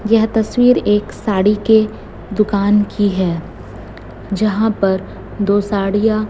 यह तस्वीर एक साड़ी के दुकान की है जहां पर दो साड़िया--